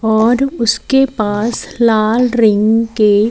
और उसके पास लाल रिंग के--